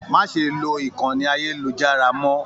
Má ṣe lo ìkànnì ayelujara mọ!.